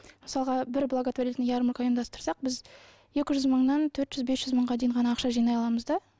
мысалға бір благотворительная ярмарка ұйымдастырсақ біз екі жүз мыңнан төрт жүз бес жүз мыңға дейін ғана ақша жинай аламыз да